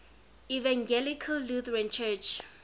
evangelical lutheran church